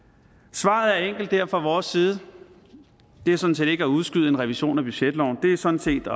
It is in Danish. svaret er enkelt her fra vores side det er sådan set ikke at udskyde en revision af budgetloven det er sådan set